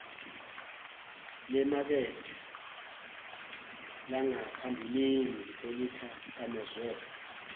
lemakethe langaphambilini othikamezwe